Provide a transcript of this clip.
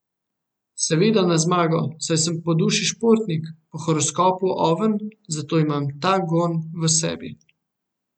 Seveda na zmago, saj sem po duši športnik, po horoskopu oven, zato imam ta gon v sebi.